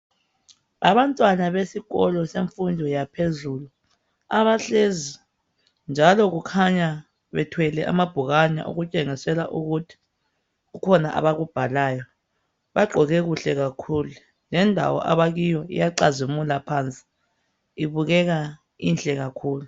Abantwana besikolo semfundo yaphezulu abahlezi njalo kukhanya bethwele amabhukwana okutshengisela ukuthi kukhona abakubhalayo. Bagqoke kuhle kakhulu. Lendawo abakiyo iyacazimula phansi ibukeka inhle kakhulu.